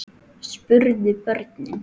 spurðu börnin.